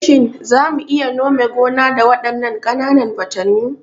Shin za mu iya nome gonan da waɗannan ƙananan fatanyun?